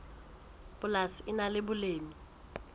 polasi le nang le boleng